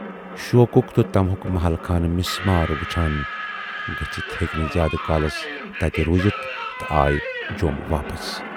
شوقُک تہٕ طمہُک محل خانہٕ مِسمار وُچھان گٔژھِتھ ہیکۍ نہٕ زیادٕ کالس تَتہِ روٗزِتھ تہٕ آیہِ جوم واپَس۔